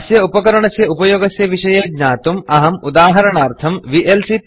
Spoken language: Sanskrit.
अस्य उपकरणस्य उपयोगः कथं करणीयः इति दृष्टुम् अहम् उदाहरणरूपेण वीएलसी Playerविएल्सी